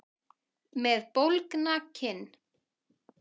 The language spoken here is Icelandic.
Með bólgna kinn.